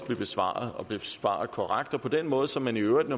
blev besvaret og blev besvaret korrekt og på den måde som man i øvrigt